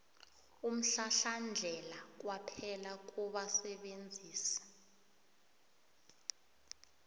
umhlahlandlela kwaphela kubasebenzisi